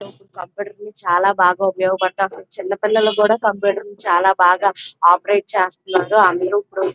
అప్పటికి చాలా బాగా ఉపయోగపడుతుంది చిన్నపిల్లలకి కూడా కంప్యూటర్ చాలా బాగా ఆపరేట్ చేస్తున్నారు.